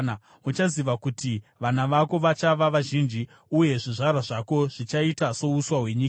Uchaziva kuti vana vako vachava vazhinji, uye zvizvarwa zvako zvichaita souswa hwenyika.